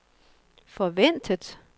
forventet